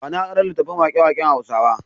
Ba ni aron littafin waƙe-waƙen Hausawa.